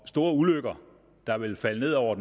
store ulykker der ville falde ned over